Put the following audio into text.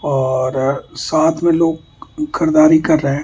और साथ में लोग खरीदारी कर रहे हैं।